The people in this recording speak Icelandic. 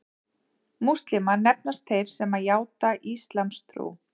Múslímar nefnast þeir sem játa íslamstrú.